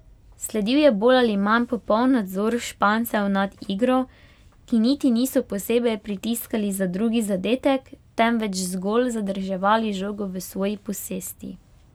Sledil je bolj ali manj popoln nadzor Špancev nad igro, ki niti niso posebej pritiskali za drugi zadetek, temveč zgolj zadrževali žogo v svoji posesti.